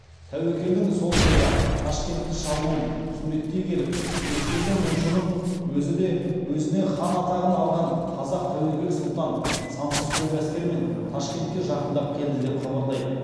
тәуекелдің сол жылғы ташкентті шабуын суреттей келіп ескендір мұңшының өзі де өзіне хан атағын алған қазақ тәуекел сұлтан сансыз көп әскермен ташкентке жақындап келді деп хабарлайды